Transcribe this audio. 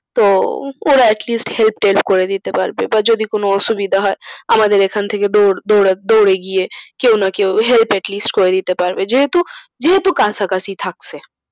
তো ওরা atleast help টেল্প করে দিতে পারবে বা যদি কোন অসুবিধা হয়, আমাদের এখান থেকে দৌঁড়ে গিয়ে কেউ না কেউ help atleast করে দিতে পারবে যেহেতু যেহেতু কাছাকাছি থাকছে।